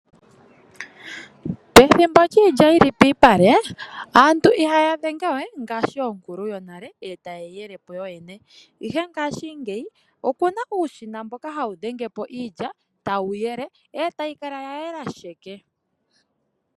Pethimbo lyiilya yi li piipale aantu ihaya dhenge we ngaashi onkulu yonale e taye yi yele po yoyene, ihe ngaashingeyi oku na uushina mboka hawu dhenge po iilya e tawu yele e tayi kala ya yela sheke.